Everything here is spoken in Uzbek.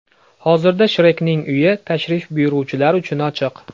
Hozirda Shrekning uyi tashrif buyuruvchilar uchun ochiq.